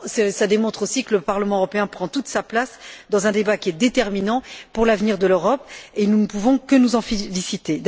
Cela démontre aussi que le Parlement européen prend toute sa place dans un débat qui est déterminant pour l'avenir de l'Europe, et nous ne pouvons que nous en féliciter.